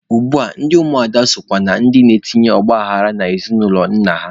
Ugbua ndị ụmụada sokwa na ndị na-etinye ọgbaghara n'ezinụlọ nna ha.